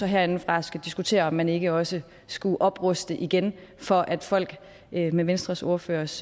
herindefra skulle diskutere om man ikke også skulle opruste igen for at folk med venstres ordførers